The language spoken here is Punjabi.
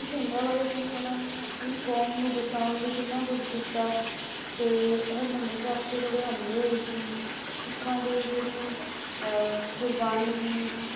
ਤੇ ਜਿਹੜੇ ਸੰਤ ਭਿੰਡਰਾਂਵਾਲੇ ਸੀ ਉਨ੍ਹਾਂ ਨੇ ਆਪਣੀ ਕੌਮ ਨੂੰ ਬਚਾਉਣ ਲਈ ਕਿੰਨਾ ਕੁਝ ਕੀਤਾ ਤੇ ਹਰਮਿੰਦਰ ਸਾਹਿਬ ਤੇ ਜਿਹੜੇ ਹਮਲੇ ਹੋਏ ਸੀ ਸਿੱਖਾਂ ਦੀ ਜਿਹੜੀ ਅਹ ਗੁਰਬਾਣੀ ਦੀ ਤੇ